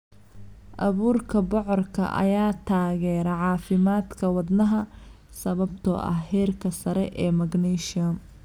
Abuurka bocorka ayaa taageera caafimaadka wadnaha sababtoo ah heerka sare ee magnesium.